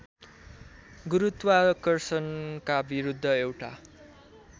गुरुत्वार्षणका विरुद्ध एउटा